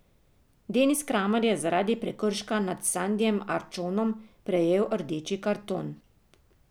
Denis Kramar je zaradi prekrška nad Sandijem Arčonom prejel rdeči karton.